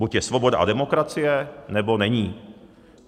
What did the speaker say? Buď je svoboda a demokracie, nebo není.